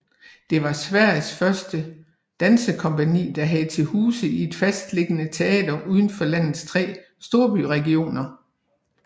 Det var Sveriges første dansekompagni der havde til huse i et fastliggende teater uden for landets tre storbyregioner